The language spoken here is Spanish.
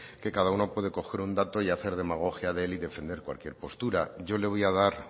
que cada uno puede coger un dato y hacer demagogia de él y defender cualquier postura yo le voy a dar